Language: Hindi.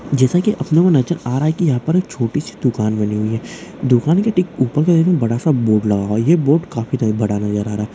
जैसा की अपने को नज़र आ रहा है की यहाँ पर छोटी सी दुकान बनी हुई है दुकान के ठीक ऊपर बड़ा सा बोर्ड लगा हुआ है ये बोर्ड काफी ज्यादा बड़ा नज़र आ रहा हैं।